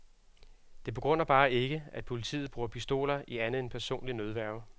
Det begrunder bare ikke, at politiet bruger pistoler i andet end personlig nødværge.